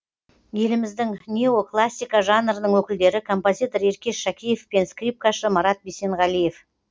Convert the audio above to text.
еліміздің неоклассика жанрының өкілдері композитор еркеш шакеев пен скрипкашы марат бисенғалиев